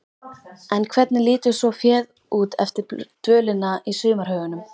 En hvernig lítur svo féð út eftir dvölina í sumarhögunum?